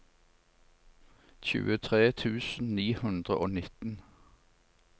tjuetre tusen ni hundre og nitten